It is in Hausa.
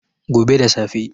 gobe da safe